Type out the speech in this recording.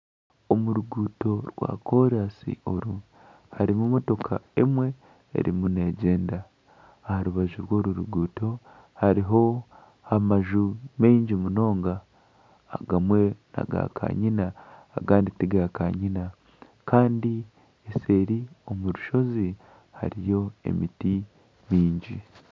Omu ruguuto rwa koransi oru harimu emotoka emwe erimu neegyenda. Aha rubaju rw'oru ruguuto hariho amaju maingi munonga. Agamwe n'aga kanyina agandi tigakanyina. Kandi seeri omu rushozi hariyo emiti nyingi.